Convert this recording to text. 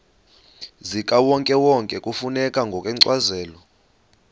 zikawonkewonke kufuneka ngokwencazelo